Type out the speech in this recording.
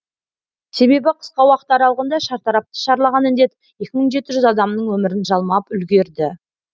себебі қысқа уақыт аралығында шартарапты шарлаған індет екі мың жеті жүз адамның өмірін жалмап үлгерді